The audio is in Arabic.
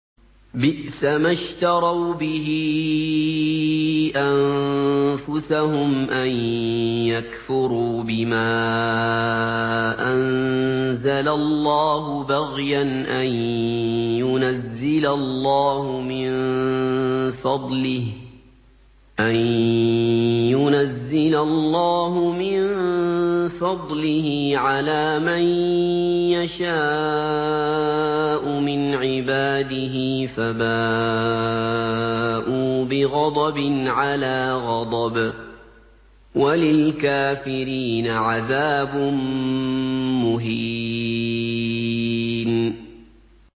بِئْسَمَا اشْتَرَوْا بِهِ أَنفُسَهُمْ أَن يَكْفُرُوا بِمَا أَنزَلَ اللَّهُ بَغْيًا أَن يُنَزِّلَ اللَّهُ مِن فَضْلِهِ عَلَىٰ مَن يَشَاءُ مِنْ عِبَادِهِ ۖ فَبَاءُوا بِغَضَبٍ عَلَىٰ غَضَبٍ ۚ وَلِلْكَافِرِينَ عَذَابٌ مُّهِينٌ